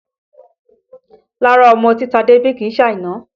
Rárá ọmọ tí Tade bí kìí ṣe Àìná